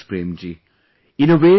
thank you very much, Prem ji